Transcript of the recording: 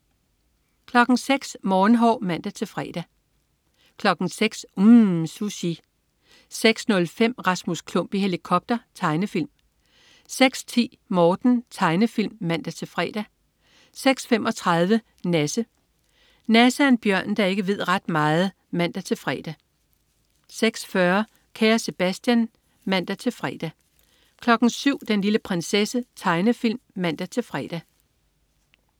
06.00 Morgenhår (man-fre) 06.00 UMM. Sushi 06.05 Rasmus Klump i helikopter. Tegnefilm 06.10 Morten. Tegnefilm (man-fre) 06.35 Nasse. Nasse er en bjørn, der ikke ved ret meget (man-fre) 06.40 Kære Sebastian (man-fre) 07.00 Den lille prinsesse. Tegnefilm (man-fre)